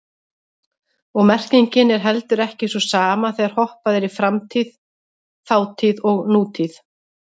Og merkingin er heldur ekki sú sama þegar hoppað er í framtíð, þátíð og nútíð.